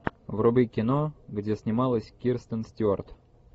вруби кино где снималась кристен стюарт